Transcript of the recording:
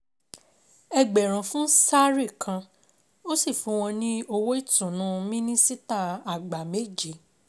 Ẹgbẹ̀rún fún Sari kan, ó sì fún wọn ní owó ìtùnú Mínísítà Àgbà méje.